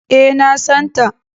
E, na san ta.